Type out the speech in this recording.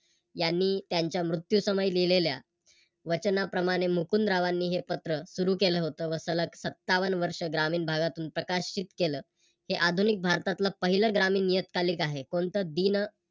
यांनी त्यांच्या मृत्यू समय लिहलेल्या वचनाप्रमाणे मुकुंदरावांनी हे पत्र सुरू केल होत व सलग सत्तावन्न वर्ष ग्रामीण भागातून प्रकाशित केल. हे आधुनिक भारतातल पहिल ग्रामीण नियतकालिक आहे. कोणत दिन